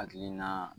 Hakilina